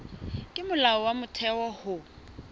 ke molao wa motheo ho